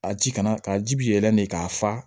A ji kana ka ji bi yɛlɛ de k'a fa